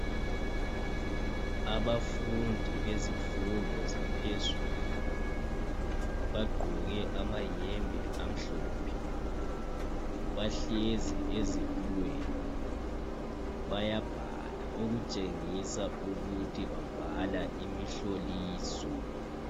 Abafundi bezifundo zaphezulu bagqoke amahembe amhlophe. Bahlezi ezitulweni bayabhala okutshengisa ukuthi babhala imihloliso.